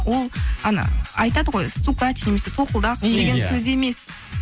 ол ана айтады ғой стукач немесе тоқылдақ деген сөз емес